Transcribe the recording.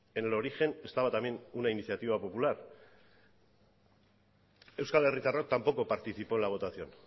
en el origen estaba también una iniciativa popular euskal herritarrok tampoco participó en la votación